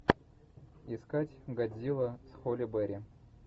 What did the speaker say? искать годзилла с холли берри